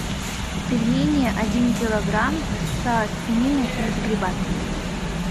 пельмени один килограмм со свининой и грибами